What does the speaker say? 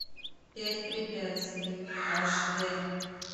пять препятствий аш д